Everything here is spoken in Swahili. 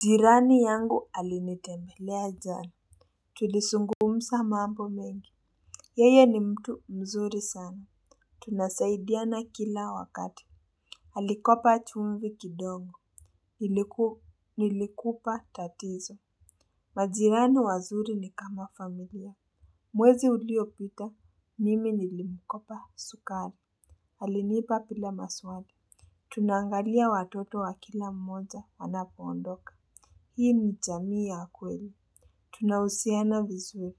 Jirani yangu alinitembelea jana. Tulisungumsa mambo mengi. Yeye ni mtu mzuri sana. Tunasaidiana kila wakati alikopa chumvi kidogo. Niliku nilikupa tatizo. Majirani wazuri ni kama familia. Mwezi uliopita mimi nilimkopa sukali alinipa pila maswali. Tunaangalia watoto wa kila mmoja anapo ondoka. Hii ni chamii ya kweli. Tunausiana vizuri.